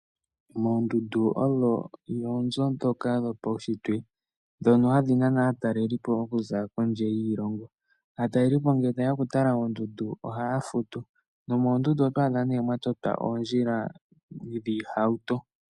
Oondundu odho oonzo dhoka dhopaunshitwe, ndhono hadhi nana aatalelipo okuza kondje yiilongo. Aatalelipo ngele tayeya oku tala oondundu ohaya futu. Nomoondundu oto adha nee mwa totwa oondjila dhiihauto.